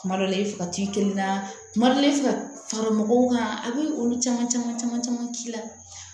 Kuma dɔ la i bɛ fɛ ka t'i kelen na kuma dɔ la i bɛ fɛ ka fara mɔgɔw kan a bɛ olu caman caman caman caman k'i la